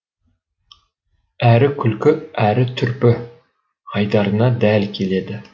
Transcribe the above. әрі күлкі әр түрпі айдарына дәл келеді